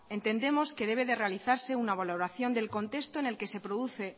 entendemos que debe realizarse una valoración del contexto en el que se produce